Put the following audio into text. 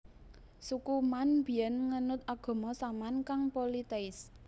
Suku Man biyen ngenut agama Saman kang politeis